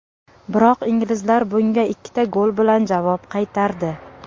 Biroq inglizlar bunga ikkita gol bilan javob qaytardi.